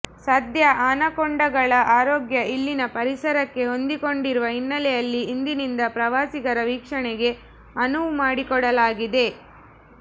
ಸದ್ಯ ಅನಕೊಂಡಗಳ ಆರೋಗ್ಯ ಇಲ್ಲಿನ ಪರಿಸರಕ್ಕೆ ಹೊಂದಿಕೊಂಡಿರುವ ಹಿನ್ನೆಲೆಯಲ್ಲಿ ಇಂದಿನಿಂದ ಪ್ರವಾಸಿಗರ ವೀಕ್ಷಣೆಗೆ ಅನುವು ಮಾಡಿಕೊಡಲಾಗಿದೆ